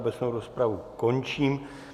Obecnou rozpravu končím.